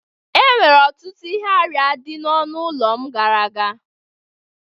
Enwere ọtụtụ ihe arịa dị n'ọnụ ụlọ m gara aga